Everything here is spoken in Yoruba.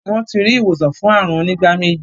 Wón tí rí ìwòsàn fún àrùn onígbáméjì.